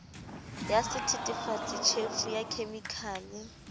ya sethethefatsi tjhefu ya khemikhale